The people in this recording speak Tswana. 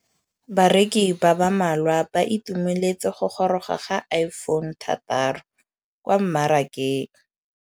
Bareki ba ba malwa ba ituemeletse go gôrôga ga Iphone6 kwa mmarakeng.